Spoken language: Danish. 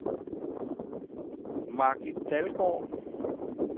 Margit Dalgaard